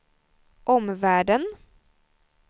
omvärlden